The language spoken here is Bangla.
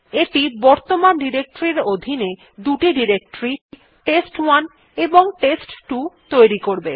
এইটি বর্তমান ডিরেক্টরীর অধীনে দুটি ডিরেক্টরী টেস্ট1 এবং টেস্ট2 তৈরি করবে